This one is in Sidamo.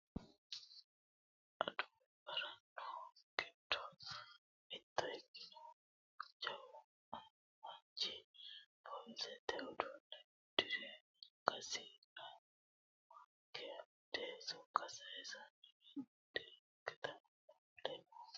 adawu agaraano giddo mitto ikkinohu jawu manchi poolisete uduunne uddire angasira mayeeka amade sokka sayeesara madirakete aana fule noota .